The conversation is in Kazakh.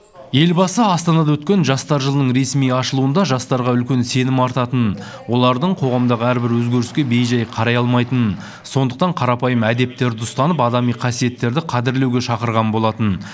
елбасы астанада өткен жастар жылының ресми ашылуында жастарға үлкен сенім артатынын олардың қоғамдағы әрбір өзгеріске бей жай қарай алмайтынын сондықтан қарапайым әдептерді ұстанып адами қасиеттерді қадірлеуге шақырған болатын